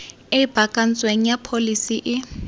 e baakantsweng ya pholesi e